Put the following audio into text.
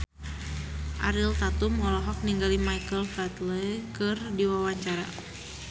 Ariel Tatum olohok ningali Michael Flatley keur diwawancara